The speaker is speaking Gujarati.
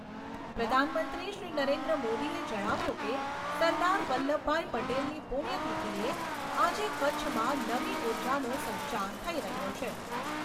પ્રધાનમંત્રીશ્રી નરેન્દ્ર મોદીએ જણાવ્યું કે, સરદાર વલ્લભભાઈ પટેલની પૂણ્યતીથીએ આજે કચ્છમાં નવી ઉર્જાનો સંચાર થઈ રહ્યો છે.